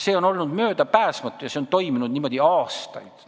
See on olnud möödapääsmatu ja niimoodi on toimunud aastaid.